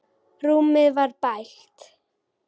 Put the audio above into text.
Rúmið var bælt.